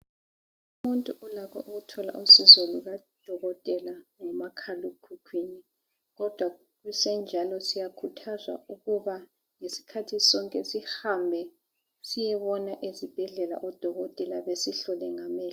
Umuntu ulakho ukuthola usizo lukadokotela ngomakhala ekhukhwini. Kodwa kusenjalo siyakhuthazwa ukuba ngesikhathi sonke sihambe siyebona ezibhedlela odokotela besihlole ngamehlo.